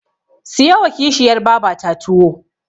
Siyowa Kishiyar babata tuwo.